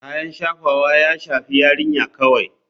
Kayan shafawa ya shafi yarinya kawai.